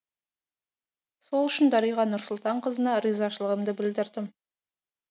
сол үшін дариға нұрсұлтанқызына ризашылығымды білдірдім